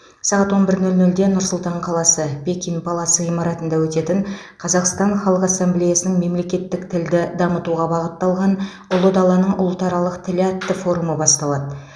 сағат он бір нөл нөлде нұр сұлтан қаласы пекин палас ғимаратында өтетін қазақстан халқы ассамблеясының мемлекеттік тілді дамытуға бағытталған ұлы даланың ұлтаралық тілі атты форумы басталады